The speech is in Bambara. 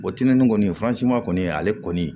O tinimini kɔni kɔni ale kɔni